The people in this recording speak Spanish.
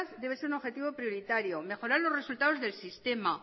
debe ser un objetivo prioritario mejorar los resultados del sistema